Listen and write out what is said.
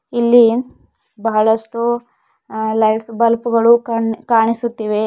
ಇಲ್ಲಿ ಬಹಳಷ್ಟು ಅ ಲೈಟ್ಸ್ ಬಲ್ಬ್ ಗಳು ಕಣ್ ಕಾಣಿಸುತ್ತಿವೆ.